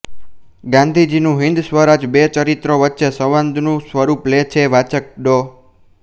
ગાંધીજીનું હિન્દ સ્વરાજ બે ચરિત્રો વચ્ચે સંવાદનું સ્વરૂપ લે છે વાચક ડૉ